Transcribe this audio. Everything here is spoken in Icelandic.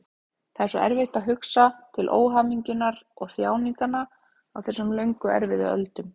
Það er svo erfitt að hugsa til óhamingjunnar og þjáninganna á þessum löngu erfiðu öldum.